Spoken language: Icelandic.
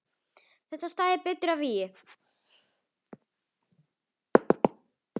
Það stæði betur að vígi.